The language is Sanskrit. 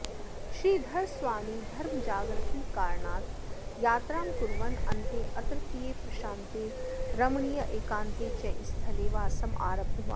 श्रीधरस्वामी धर्मजागृतिकारणात् यात्रां कुर्वन् अन्ते अत्रत्ये प्रशान्ते रमणीये एकान्ते च स्थले वासम् आरब्धवान्